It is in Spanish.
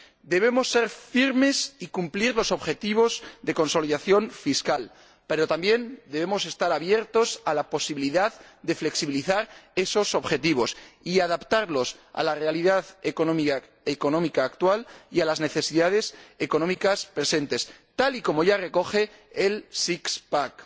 Debemos ser firmes y cumplir los objetivos de consolidación fiscal, pero también debemos estar abiertos a la posibilidad de flexibilizar esos objetivos y adaptarlos a la realidad económica actual y a las necesidades económicas presentes, tal y como ya recoge el six pack